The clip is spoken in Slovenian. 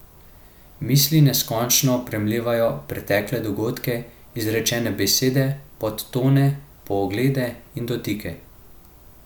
Misli neskončno premlevajo pretekle dogodke, izrečene besede, podtone, poglede in dotike.